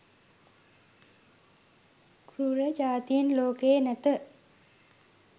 කෲර ජාතීන් ලෝකයේ නැත.